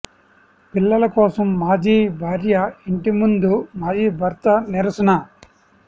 పిల్లల కోసం మాజీ భార్య ఇంటి ముందు మాజీ భర్త నిరసన